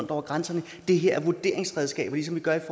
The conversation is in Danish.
over grænserne det her er vurderingsredskaber ligesom vi gør det